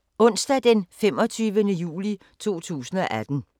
Onsdag d. 25. juli 2018